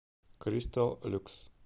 кристалл люкс